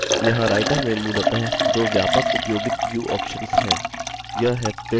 यहाँ writer में मूलतः दो व्यापक उपयोगित view options हैं